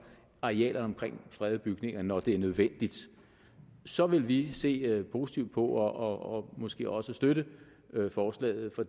arealerne omkring fredede bygninger når det er nødvendigt så vil vi se positivt på og måske også støtte forslaget for